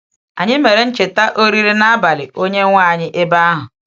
Anyị mere ncheta Oriri N’abalị Onye-nwe anyị ebe ahụ.